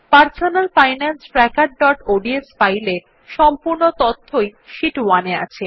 personal finance trackerঅডস ফাইলে সম্পূর্ণ তথ্যই শীট 1 এ আছে